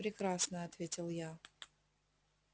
прекрасно ответил я